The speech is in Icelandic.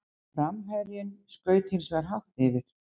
Framherjinn skaut hins vegar hátt yfir.